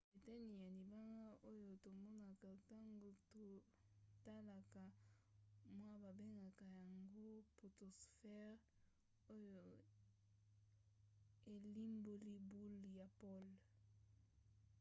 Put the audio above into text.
eteni ya libanda oyo tomonaka ntango totalaka moi babengaka yango potosphere oyo elimboli boule ya pole